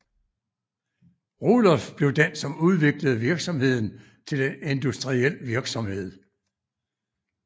Rudolf blev den som udviklede virksomheden til en industriel virksomhed